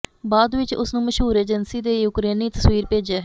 ਬਾਅਦ ਵਿਚ ਉਸ ਨੂੰ ਮਸ਼ਹੂਰ ਏਜੰਸੀ ਦੇ ਯੂਕਰੇਨੀ ਤਸਵੀਰ ਭੇਜਿਆ ਹੈ